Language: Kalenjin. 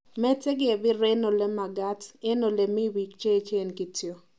Mete kebir eng ole makaat, eng ole mibik che echen kityo!"